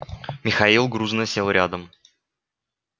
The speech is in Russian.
михаил грузно сел рядом